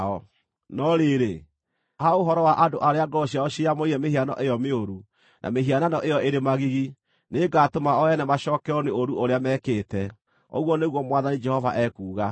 No rĩrĩ, ha ũhoro wa andũ arĩa ngoro ciao ciĩyamũrĩire mĩhiano ĩyo mĩũru na mĩhianano ĩyo ĩrĩ magigi, nĩngatũma o ene macookererwo nĩ ũũru ũrĩa mekĩte, ũguo nĩguo Mwathani Jehova ekuuga.”